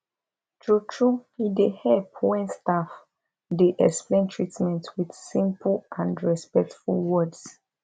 truetrue e dey help when staff dey explain treatment with simple and respectful words